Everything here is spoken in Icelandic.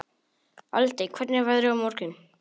Aldey, hvernig er veðrið á morgun?